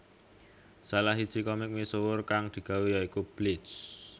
Salah siji komik misuwur kang digawé ya iku Bleach